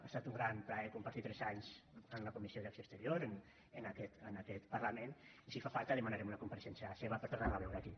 ha estat un gran plaer compartir tres anys en la comissió d’acció exterior en aquest parlament i si fa falta demanarem una compareixença seva per tornar la a veure aquí